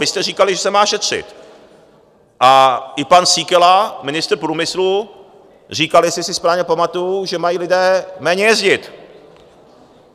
Vy jste říkali, že se má šetřit, a i pan Síkela, ministr průmyslu, říkal, jestli si správně pamatuju, že mají lidé méně jezdit.